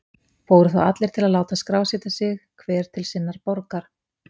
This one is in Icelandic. Fóru þá allir til að láta skrásetja sig, hver til sinnar borgar.